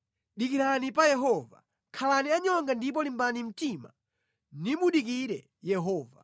Dikirani pa Yehova; khalani anyonga ndipo limbani mtima nimudikire Yehova.